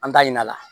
An t'a ɲin'a la